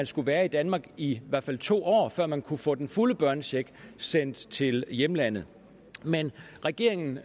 skulle være i danmark i i hvert fald to år før man kunne få den fulde børnecheck sendt til hjemlandet men regeringen